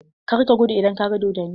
Kar ka gudu idan ka ga dodonni!